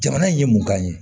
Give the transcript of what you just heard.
Jamana ye mun kan ye